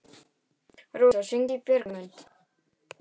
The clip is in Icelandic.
Rósa, hringdu í Bjargmund.